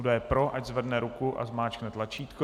Kdo je pro, ať zvedne ruku a zmáčkne tlačítko.